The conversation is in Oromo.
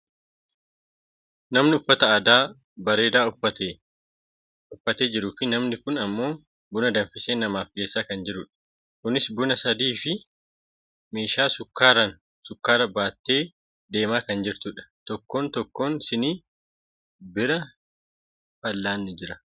Nama uffata aadaa bareedaa uffatee jiruufi namni kun ammoo buna danfisee namaaf geessaa kan jirudha. Kunis buna sinii sadiifi meeshaa sukkaaraan sukkaara baattee deemaa kan jirtudha. Tokkoon tokkoon sinii bira fallaanni jira.